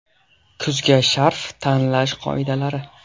Kuzga sharf tanlash qoidalari.